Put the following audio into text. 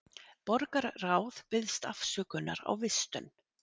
Borgarráð biðst afsökunar á vistun